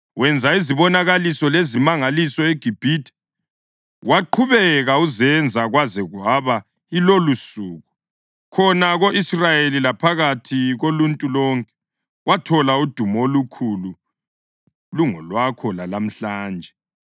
Wenza izibonakaliso lezimangaliso eGibhithe, waqhubeka uzenza kwaze kwaba yilolusuku, khona ko-Israyeli laphakathi koluntu lonke, wathola udumo olukhulu lungolwakho lalamhlanje.